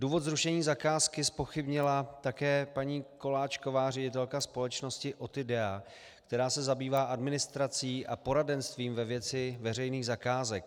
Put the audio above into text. Důvod zrušení zakázky zpochybnila také paní Koláčková, ředitelka společnosti OTIDEA, která se zabývá administrací a poradenstvím ve věci veřejných zakázek.